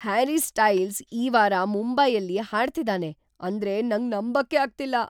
Harry Styles ಈ ವಾರ ಮುಂಬೈಯಲ್ಲಿ ಹಾಡ್ತಿದಾನೆ ಅಂದ್ರೆ ನಂಗ್‌ ನಂಬಕ್ಕೇ ಆಗ್ತಿಲ್ಲ.